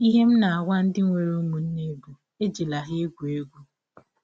Ihe m na - agwa ndị nwere ụmụnne bụ, ‘ Ejila ha egwụ egwụ! ’”